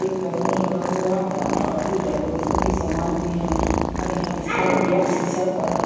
एक बैलून लगा हुआ है और कुछ डेकोरेशन के समान भी हैं और यहां इसका गेट शीशा का है।